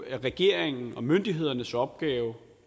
er regeringens og myndighedernes opgave